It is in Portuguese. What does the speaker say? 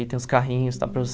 Aí tem os carrinhos, dá para